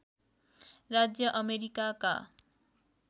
राज्य अमेरिकाका